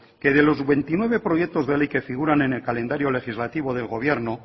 que de los veintinueve proyectos de ley que figuran en el calendario legislativo del gobierno